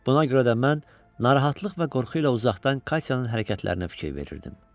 Buna görə də mən narahatlıq və qorxu ilə uzaqdan Katyanın hərəkətlərinə fikir verirdim.